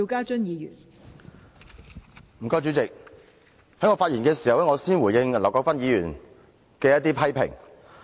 代理主席，在我發言前，我先回應劉國勳議員的批評。